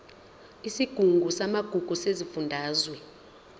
isigungu samagugu sesifundazwe